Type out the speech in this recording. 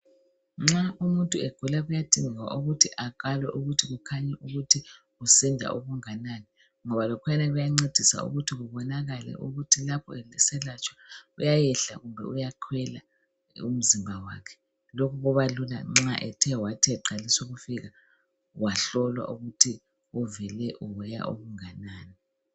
Nxa umuntu egula kuyadinga ukuthi akalwe ukuthi kukhanye ukuthi usinda okunganani. Ngoba lokhwana kuyancedisa ukuthi kubonakale ukuthi lapho eselatshwa kuyayehla kumbe kuyakhwela umzimba wakhe. Lokhu kubalula nxa ethe wathi eqalisa ukufika wahlolwa ukuthi uvele uweya kanganani